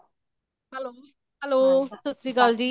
hello, hello ਸਤਿ ਸ਼੍ਰੀ ਅਕਾਲ ਜੀ